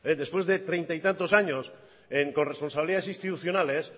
después de treinta y tantos años en corresponsabilidades institucionales